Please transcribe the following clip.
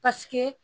Paseke